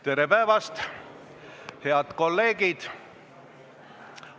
Tere päevast, head kolleegid!